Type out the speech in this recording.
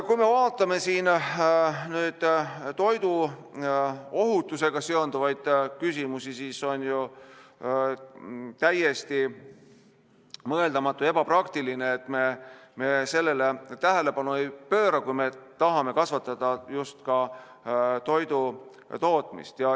Kui me vaatame toiduohutusega seonduvaid küsimusi, siis on ju täiesti mõeldamatu ja ebapraktiline, et me sellele tähelepanu ei pööra, kui me tahame kasvatada just ka toidutootmist.